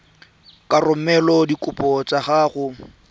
ka romela dikopo tsa gago